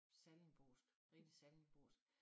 Sallingbosk rigtig sallingbosk